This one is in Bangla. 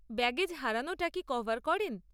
ব্যাগেজ হারানোটা কি কভার করেন?